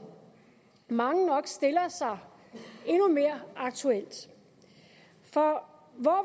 mange nok stiller sig endnu mere aktuelt for hvor